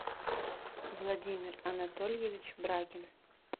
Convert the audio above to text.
владимир анатольевич брагин